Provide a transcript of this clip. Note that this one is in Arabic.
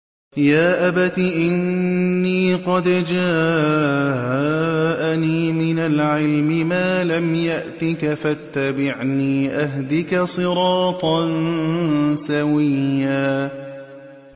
يَا أَبَتِ إِنِّي قَدْ جَاءَنِي مِنَ الْعِلْمِ مَا لَمْ يَأْتِكَ فَاتَّبِعْنِي أَهْدِكَ صِرَاطًا سَوِيًّا